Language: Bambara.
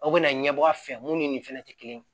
Aw bɛna ɲɛbɔ a fɛ mun ni nin fɛnɛ tɛ kelen ye